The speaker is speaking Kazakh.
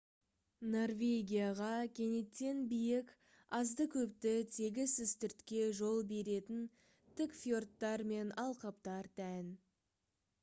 норвегияға кенеттен биік азды-көпті тегіс үстіртке жол беретін тік фьордтар мен алқаптар тән